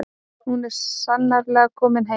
Hún er sannarlega komin heim.